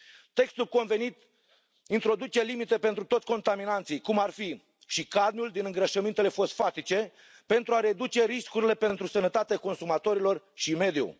Textul convenit introduce limite pentru toți contaminanții, cum ar fi și cadmiul din îngrășămintele fosfatice, pentru a reduce riscurile pentru sănătatea consumatorilor și mediu.